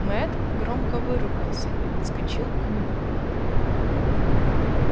мэтт громко выругался и подскочил к нему